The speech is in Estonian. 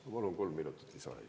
Ma palun kolm minutit lisaaega.